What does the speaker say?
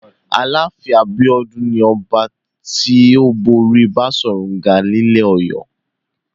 Aláàfin Abíọ́dún ni ọba tó borí Baṣọ̀run Gáà nílẹ̀ Ọ̀yọ́.